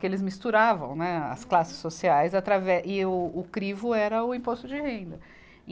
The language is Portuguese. Que eles misturavam, né, as classes sociais, atrave e o, o crivo era o imposto de renda e.